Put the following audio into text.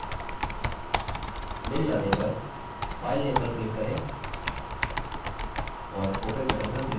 मिल जाने पर filename पर click करें और open button पर click करें